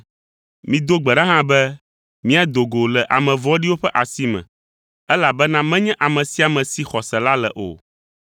Mido gbe ɖa hã be míado go le ame vɔ̃ɖiwo ƒe asi me, elabena menye ame sia ame si xɔse la le o.